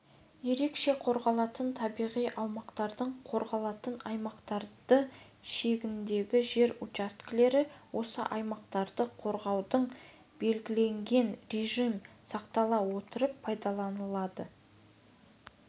ерекше қорғалатын табиғи аумақтардың қорғалатын аймақтары шегіндегі жер учаскелер осы аймақтарды қорғаудың белгіленген режим сақтала отырып пайдаланылады